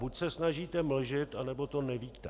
Buď se snažíte mlžit, anebo to nevíte.